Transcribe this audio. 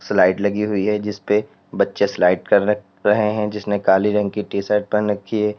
Slide लगी हुई है जिस पे बच्चे स्लाइड कर रहे हैं जिसने काली रंग की टीशर्ट पहन रखी है।